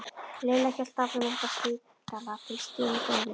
Lilla hélt áfram upp á spítala til Stínu gömlu.